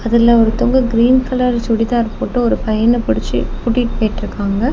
அதுல ஒருத்தவங்க green colour churidar போட்டு ஒரு பையன பிடிச்சு கூட்டிட்டு போயிட்டுருக்காங்க.